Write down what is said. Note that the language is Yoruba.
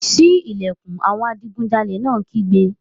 Sí ìlẹ̀kùn! Àwọn adigunjalè náà kígbe.